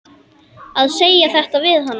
Að segja þetta við hana.